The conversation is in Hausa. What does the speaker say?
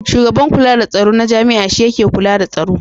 Shugaban kula da tsaro na jami'a shi yake kula da tsaro.